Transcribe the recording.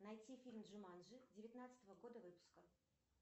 найти фильм джуманджи девятнадцатого года выпуска